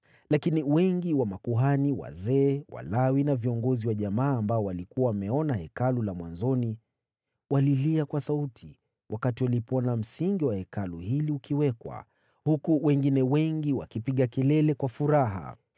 Lakini wengi wa makuhani wazee, Walawi na viongozi wa jamaa waliokuwa wameona Hekalu la mwanzoni, walilia kwa sauti walipoona msingi wa Hekalu hili ukiwekwa, huku wengine wengi wakipiga kelele kwa furaha.